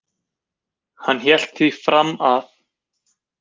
Hann hélt því fram að